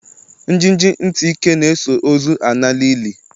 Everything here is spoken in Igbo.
Njiji ntị ike na-eso ozu ala n'ili.